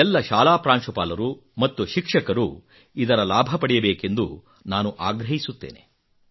ಎಲ್ಲ ಶಾಲಾ ಪ್ರಾಂಶುಪಾಲರು ಮತ್ತು ಶಿಕ್ಷಕರು ಇದರ ಲಾಭ ಪಡೆಯಬೇಕೆಂದು ನಾನು ಆಗ್ರಹಿಸುತ್ತೇನೆ